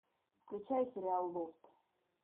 включай сериал лофт